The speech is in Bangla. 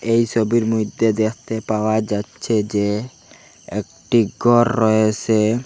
এই সবির মইদ্যে দেখতে পাওয়া যাচ্চে যে একটি গর রয়েসে ।